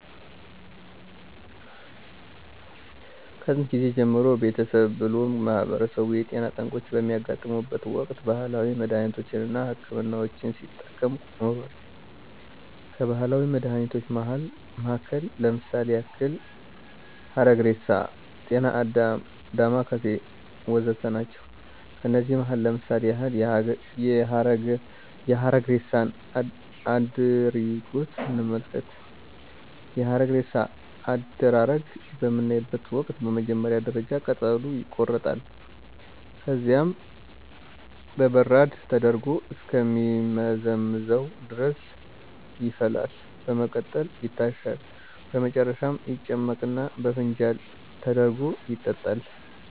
ከጥየንት ጊዜ ጀምሮ ቤተሰብ ብሎም ማህበረሰቡ የጤና ጠንቆች በሚያጋጥሙበት ወቅት ባህላዊ መድሃኒቶች አና ሕክምናዎችን ሲጠቀም ኖሯል። ከባህላዊ መድሃኒቶች መሀከል ለምሳሌ ያክል ሀረግሬሳ፣ ጤናአዳም፣ ዳማከሴ ወዘተ ናቸው። ከነዚህም መሀከል ለምሳሌ ያክል የሀረግሬሳን አድሪጎት እንመልከት፦ የሀረግሬሳ አደራረግ በምናይበተ ወቅት በመጀመሪያ ደረጃ ቅጠሉ ይቆረጣል፣ ከዚያም በበራድ ተደርጎ እስከ ሚመዘምዘው ድረስ ይፈላል፣ በመቀጠልም ይታሻል፣ በመጨረሻም ይጨመቅና በፋንጃል ተደርጎ ይጠጣል።